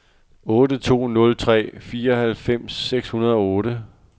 otte to nul tre fireoghalvfems seks hundrede og otte